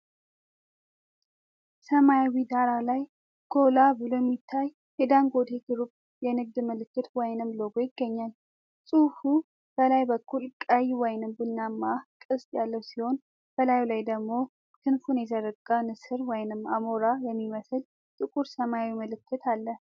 ሰማያዊ ዳራ ላይ ጎላ ብሎ የሚታይ የዳንጎቴ ግሩፕ የንግድ ምልክት/ሎጎ ይገኛል። ጽሁፉ በላይ በኩል ቀይ/ቡናማ ቅስት ያለ ሲሆን፣ በላዩ ላይ ደግሞ ክንፉ የተዘረጋ ንስር/አሞራ የሚመስል ጥቁር ሰማያዊ ምልክት አለ።